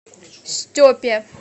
степе